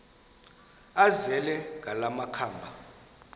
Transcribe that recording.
azele ngala makhaba